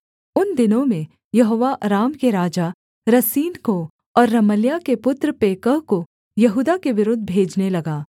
उन दिनों में यहोवा अराम के राजा रसीन को और रमल्याह के पुत्र पेकह को यहूदा के विरुद्ध भेजने लगा